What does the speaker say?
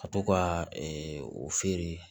Ka to ka o feere